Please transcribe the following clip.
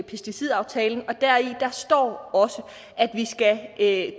pesticidaftalen og deri står også at